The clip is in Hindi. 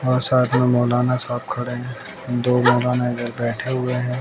और साथ में मौलाना साहब खड़े है दो मौलाना इधर बैठे हुए हैं।